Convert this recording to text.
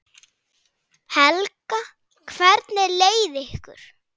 Helga: Hvernig leið ykkur?